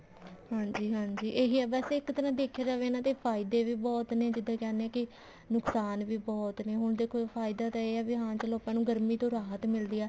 ਹਾਂਜੀ ਹਾਂਜੀ ਇਹੀ ਹੈ ਬੱਸ ਇੱਕ ਤਰ੍ਹਾਂ ਦਾ ਦੇਖਿਆ ਜਾਵੇ ਇਹਨਾ ਦੇ ਫਾਇਦੇ ਵੀ ਬਹੁਤ ਨੇ ਜਿੱਦਾਂ ਕਹਿੰਦੇ ਹਾਂ ਕੇ ਨੁਕਸਾਨ ਵੀ ਬਹੁਤ ਨੇ ਹੁਣ ਦੇਖੋ ਫਾਇਦਾ ਤਾਂ ਇਹ ਹੈ ਹੁਣ ਚਲੋ ਆਪਾਂ ਨੂੰ ਗਰਮੀ ਤੋਂ ਰਾਹਤ ਮਿਲਦੀ ਹੈ